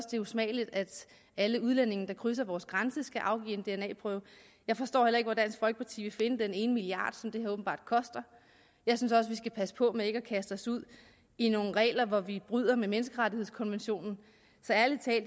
det er usmageligt at alle udlændinge der krydser vores grænse skal afgive en dna prøve jeg forstår heller ikke hvor dansk folkeparti vil finde den ene milliard kroner som det her åbenbart koster jeg synes også vi skal passe på med at kaste os ud i nogle regler hvor vi bryder med menneskerettighedskonventionen